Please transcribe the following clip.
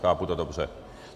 Chápu to dobře?